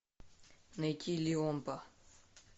найти лиомпа